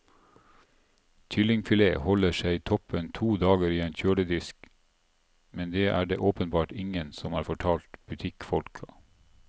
Kyllingfilet holder seg toppen to dager i en kjøledisk, men det er det åpenbart ingen som har fortalt butikkfolka.